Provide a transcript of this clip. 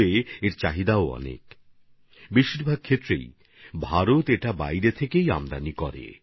ভারতে এর চাহিদা মেটাতে বেশিরভাগই বাইরে থেকে আমদানি করতে হয়